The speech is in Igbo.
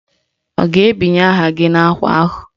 Ọ ga-ebinye aha anyị n'ákwà ahụ?